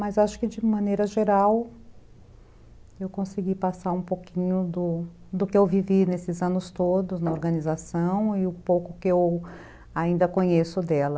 Mas acho que, de maneira geral, eu consegui passar um pouquinho do que eu vivi nesses anos todos na organização e o pouco que eu ainda conheço dela.